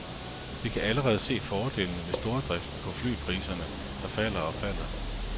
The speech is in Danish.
Vi kan allerede se fordelene ved stordriften på flypriserne, der falder og falder.